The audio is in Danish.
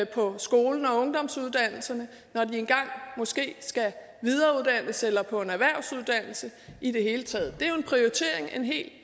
på skolen og ungdomsuddannelserne når de engang måske skal videreuddannes eller på en erhvervsuddannelse i det hele taget det